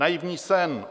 Naivní jsem.